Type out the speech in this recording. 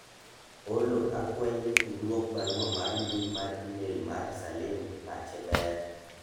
Ollo akwayi ni idwok barua mar mbui mar email Mar Salim ni pache ber